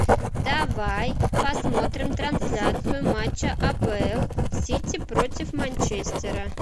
давай посмотрим трансляцию матча апл сити против манчестера